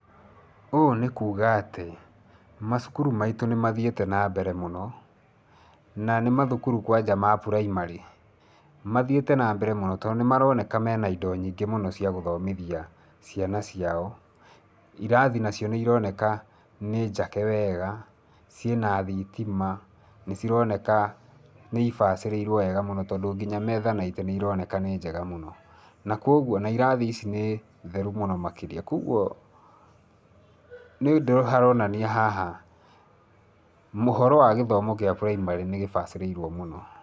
Ũũ nĩ kuuga atĩ macukuru maitũ nĩ mathiĩte na mbere mũno, na nĩ mathukuru kwanja ma primary. Mathiĩte nambere mũno tondũ nĩ maroneka mena indo nyingĩ mũno cia gũthomithia ciana ciao. Irathi nacio nĩ ironeka nĩ njake wega, ciĩna thitima, nĩ cironeka nĩ ibacĩrĩrwo wega mũno tondũ nginya metha na itĩ nĩ ironeka nĩ njega mũno, na kwoguo, na irathi ici nĩ theru mũno makĩria. Kwoguo nĩ ũndũ haronania haha maũhoro wa gĩthomo gĩa primary nĩ gĩbacĩrĩirwo mũno.